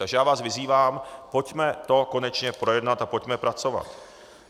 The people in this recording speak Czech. Takže já vás vyzývám, pojďme to konečně projednat a pojďme pracovat.